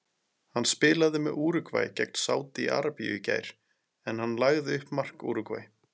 Hann spilaði með Úrúgvæ gegn Sádi Arabíu í gær en hann lagði upp mark Úrúgvæ.